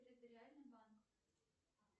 территориальный банк